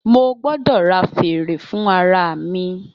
Mo gbọdọ ra fère fun ara mi.